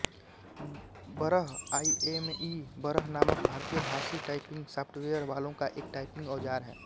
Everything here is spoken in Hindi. बरह आइऍमई बरह नामक भारतीय भाषी टाइपिंग सॉफ्टवेयर वालों का एक टाइपिंग औजार है